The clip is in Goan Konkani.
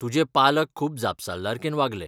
तुजे पालक खूब जापसालदारकेन वागले.